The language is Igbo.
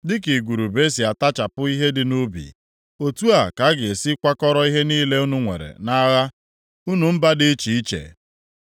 Dịka igurube si atachapụ ihe dị nʼubi, otu a ka a ga-esi kwakọrọ ihe niile unu nwere nʼagha, unu mba dị iche iche.